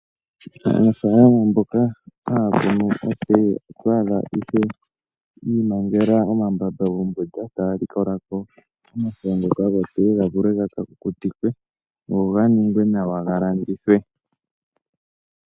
Aanafalama mboka haya kunu otee oto adha ashike yiimangela omambamba kombunda taya likolako omafo ngoka gotee ga vule gaka kukutikwe go ga ningwe nawa ga landithwe.